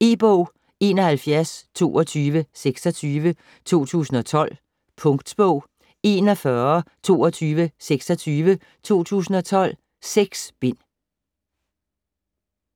E-bog 712226 2012. Punktbog 412226 2012. 6 bind.